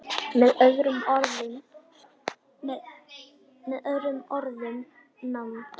Með öðrum orðum- með nánd.